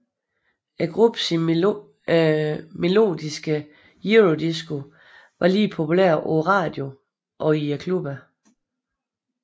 Gruppens melodiske eurodisco var lige populært på radioen og i klubberne